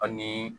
Ani